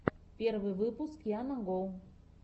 первый выпуск яна го